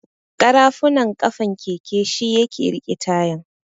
ƙarafunan ƙafan keke shi yake riƙe tayan.